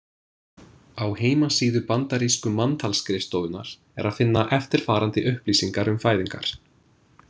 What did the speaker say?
Á heimasíðu Bandarísku manntalsskrifstofunnar er að finna eftirfarandi upplýsingar um fæðingar.